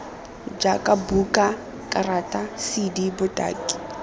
jaaka buka karata cd botaki